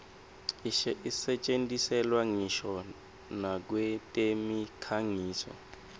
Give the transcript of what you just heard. isetjentiselwa ngisho nakwetemikhangiso